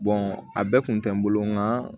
a bɛɛ kun tɛ n bolo nga